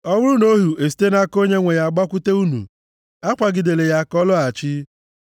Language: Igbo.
Ọ bụrụ na ohu esite nʼaka onye nwe ya gbakwute unu, akwagidela ya ka ọ lọghachi,